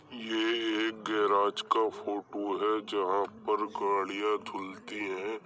ये एक गैराज का फोटू है जहां पर गाड़ियां धुलती है।